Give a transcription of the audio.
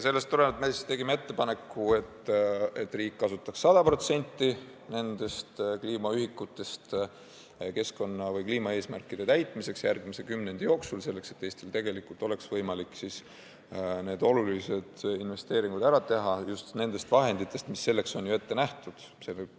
Seetõttu me tegime ettepaneku, et riik kasutaks 100% nendest kliimaühikutest keskkonnaeesmärkide täitmiseks järgmise kümnendi jooksul, selleks et Eestil oleks võimalik need olulised investeeringud ära teha just nendest vahenditest, mis ongi selleks ette nähtud.